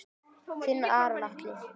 Þinn Aron Atli.